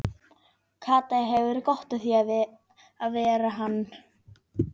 Kata hefur gott af því að vera hann.